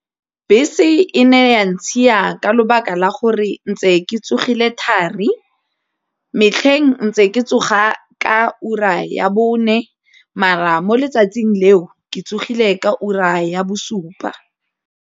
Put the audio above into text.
Bese e ne ya ntshia ka lebaka la gore ntse ke tsogile thari, metlheng ntse ke tsoga ka ura ya bone mo letsatsing leo ke tsogile ka ura ya bosupa.